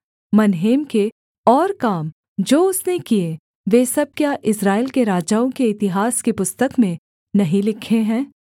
मनहेम के और काम जो उसने किए वे सब क्या इस्राएल के राजाओं के इतिहास की पुस्तक में नहीं लिखे हैं